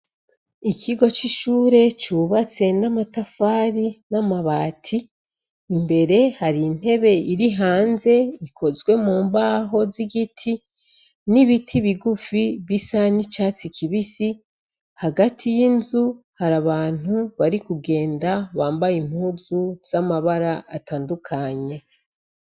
Ikigo c'ishure cubatse n'amatafari n'amabati. Imbere hari intebe iri hanze ikozwe mu mbaho z'igiti n'ibiti bigufi bisa n'icatsi kibisi hagati y'inzu hari abantu bari kugenda bambaye impuzu z'amabara atandukanye.